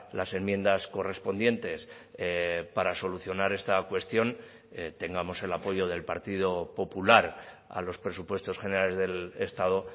las enmiendas correspondientes para solucionar esta cuestión tengamos el apoyo del partido popular a los presupuestos generales del estado